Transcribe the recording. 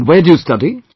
And where do you study